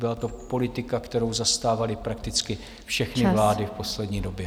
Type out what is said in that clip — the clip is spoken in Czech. Byla to politika, kterou zastávaly prakticky všechny vlády v poslední době.